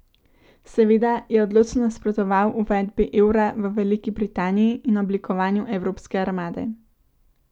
Seveda je odločno nasprotoval uvedbi evra v Veliki Britaniji in oblikovanju evropske armade.